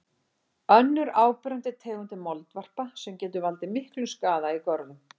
Önnur áberandi tegund er moldvarpa sem getur valdið miklum skaða í görðum.